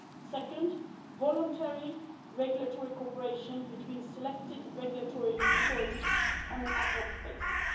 second, voluntary regulatory cooperation between selected regulatory authorities on an ad hoc basis